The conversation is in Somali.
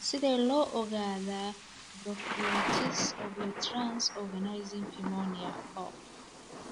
Sidee loo ogaadaa bronkiolitis obliterans organizing pneumonia (BOOP)?